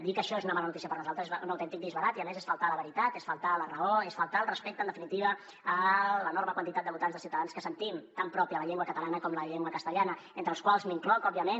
dir que això és una mala notícia per nosaltres és un autèntic disbarat i a més és faltar a la veritat és faltar a la raó és faltar al respecte en definitiva a l’enorme quantitat de votants de ciutadans que sentim tan pròpia la llengua catalana com la llengua castellana entre els quals m’incloc òbviament